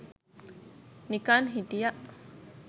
නිකන් හිටියා